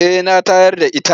Eh na tayar da its.